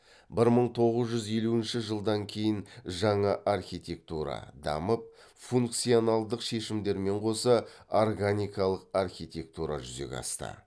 бір мың тоғыз жүз елуінші жылдан кейін жаңа архитектура дамып функциональдік шешімдермен қоса органикалық архитектура жүзеге асты